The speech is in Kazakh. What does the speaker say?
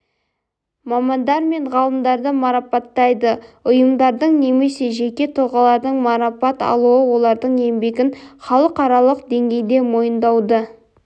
мамандар мен ғалымдарды марапаттайды ұйымдардың немесе жеке тұлғалардың марапат алуы олардың еңбегін халықаралық деңгейде мойындауды